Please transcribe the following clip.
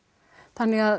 þannig